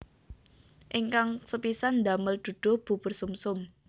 Ingkang sepisan damel duduh bubur sumsum